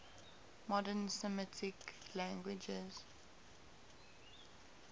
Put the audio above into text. modern semitic languages